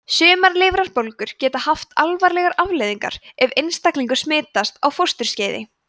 sumar lifrarbólgur geta haft alvarlegar afleiðingar ef einstaklingur smitast á fósturskeiði